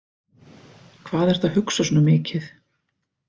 Hvað ertu að hugsa svona mikið?